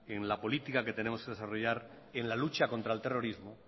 en la política que tenemos que desarrollar en la lucha contra el terrorismo